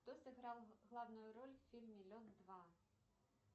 кто сыграл главную роль в фильме лед два